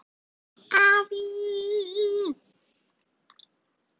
Afi!